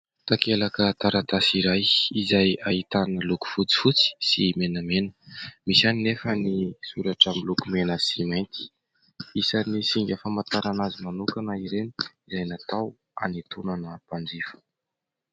Takelaka taratasy iray izay ahitana loko fotsifotsy sy menamena misy ihany anefa ny soratra miloko mena sy mainty isan'ny singa famantarana azy manokana ireny dia natao hanitonana mpanjifa.